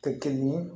Tɛ kelen ye